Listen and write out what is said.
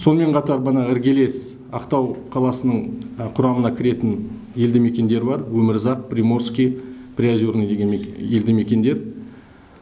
сонымен қатар бұны іргелес ақтау қаласының құрамына кіретін елді мекендері бар өмірзақ приморский приозерный деген елді мекендер